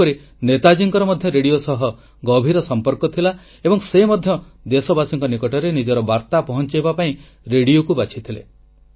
ସେହିପରି ନେତାଜୀଙ୍କର ମଧ୍ୟ ରେଡ଼ିଓ ସହ ଗଭୀର ସଂପର୍କ ଥିଲା ଏବଂ ସେ ମଧ୍ୟ ଦେଶବାସୀଙ୍କ ନିକଟରେ ନିଜର ବାର୍ତ୍ତା ପହଂଚାଇବା ପାଇଁ ରେଡ଼ିଓକୁ ବାଛିଥିଲେ